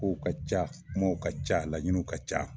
Kow ka ca kumaw ka ca laɲiniw ka ca.